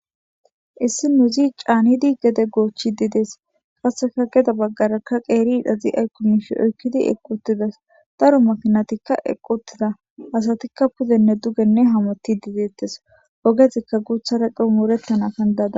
Issi nu zi caanidi gede goochchi dides qasseka geda baggarakka qeeri idhazi aykkomishe oykkidi equtidas daro makinatikka eqquttida asatikka pudenne dugenne hamoti dideettes ogezikka guuthara qu mourettana kandaada.